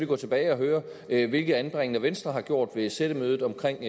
gå tilbage og høre hvilke anbringender venstre har gjort ved sættemødet omkring